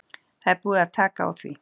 Það er búið að taka á því.